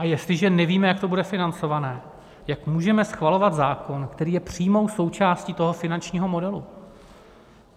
A jestliže nevíme, jak to bude financované, jak můžeme schvalovat zákon, který je přímou součástí toho finančního modelu?